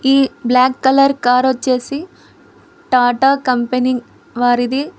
ఈ black colour car వచ్చేసి Tata company వారిది.